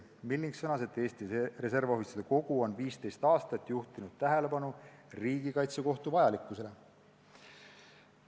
Milling sõnas, et Eesti Reservohvitseride Kogu on 15 aastat juhtinud tähelepanu riigikaitsekohtu vajalikkusele.